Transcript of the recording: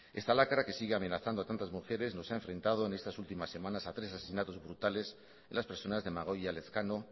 esta lacra que sigue amenazando a tantas mujeres nos ha enfrentado en estas últimas semanas a tres asesinatos brutales en las personas de amagoia elezkano